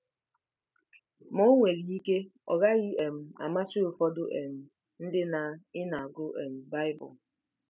Ma o nwere ike ọ gaghị um amasị ụfọdụ um ndị na ị na-agụ um Baịbụl.